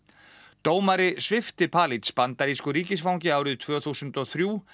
dómari svipti Palij bandarísku ríkisfangi árið tvö þúsund og þrjú